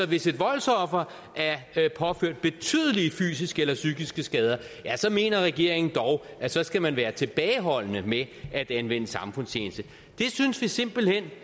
hvis et voldsoffer er påført betydelige fysiske eller psykiske skader mener regeringen dog at så skal man være tilbageholdende med at anvende samfundstjeneste det synes vi simpelt hen